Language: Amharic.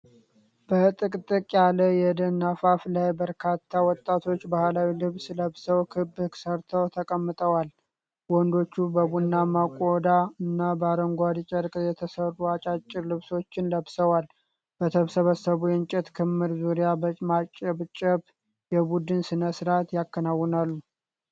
በጥቅጥቅ ያለ የደን አፋፍ ላይ በርካታ ወጣቶች ባህላዊ ልብስ ለብሰው ክብ ሰርተው ተቀምጠዋል። ወንዶቹ በቡናማ ቆዳ እና በአረንጓዴ ጨርቅ የተሰሩ አጫጭር ልብሶችን ለብሰዋል። በተሰበሰቡ የእንጨት ክምር ዙሪያ በማጨብጨብ የቡድን ሥነ ሥርዓት ያከናውናሉ።